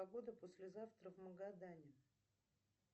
погода послезавтра в магадане